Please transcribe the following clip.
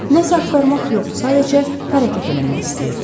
Nə isə axtarmaq yox, sadəcə hərəkət eləmək istəyirdi.